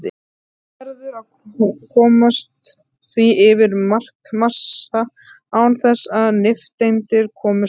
Þá verður að koma því yfir markmassa án þess að nifteindir komist að.